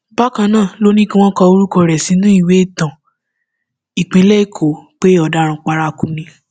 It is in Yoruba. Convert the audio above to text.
bákan náà ló ní kí wọn kọ orúkọ rẹ sínú ìwé ìtàn ìpínlẹ èkó pé ọdaràn paraku ni